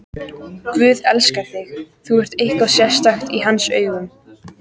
Guð elskar þig, þú ert eitthvað sérstakt í hans augum.